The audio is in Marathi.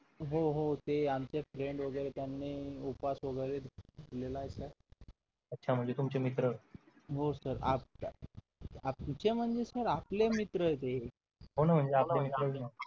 हो हो ते आमचे Friends वगैरे ने उपवास वगैरे धरलेला होता अच्छा म्हणजे तुमची मित्र हो sir तुमचे म्हणजे सर आपले मित्र आहेत ते कोण आपले मित्र